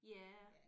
Ja